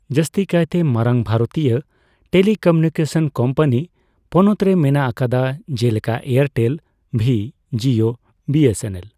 ᱡᱟᱹᱥᱛᱤ ᱠᱟᱭᱛᱮ ᱢᱟᱨᱟᱝ ᱵᱷᱟᱨᱚᱛᱤᱭᱟᱹ ᱴᱮᱞᱤᱠᱚᱢᱤᱭᱩᱱᱤᱠᱮᱥᱚᱱ ᱠᱳᱢᱯᱟᱱᱤ ᱯᱚᱱᱚᱛ ᱨᱮ ᱢᱮᱱᱟᱜ ᱟᱠᱟᱫᱟ, ᱡᱮᱞᱮᱠᱟ ᱮᱭᱟᱨᱴᱮᱞ, ᱵᱷᱤ, ᱡᱤᱳ ᱟᱨ ᱵᱤ ᱮᱥ ᱮᱱ ᱮᱞ ᱾